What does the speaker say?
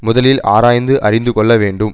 முதலில் ஆராய்ந்து அறிந்து கொள்ள வேண்டும்